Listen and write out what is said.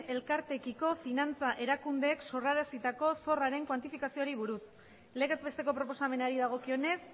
elkarteekiko finantza erakundeek sorrarazitako zorraren kuantifikazioari buruz legez besteko proposamenari dagokionez